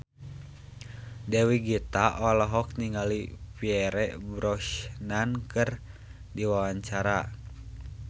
Dewi Gita olohok ningali Pierce Brosnan keur diwawancara